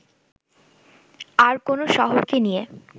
আর কোনো শহরকে নিয়ে